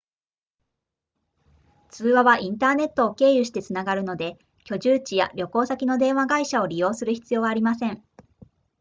通話はインターネットを経由してつながるので居住地や旅行先の電話会社を利用する必要はありません